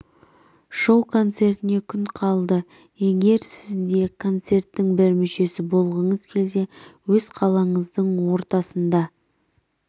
шоу концертіне күн қалды егер сіз де концерттін бір мүшесі болғыңыз келсе өз қалаңыздың ортасында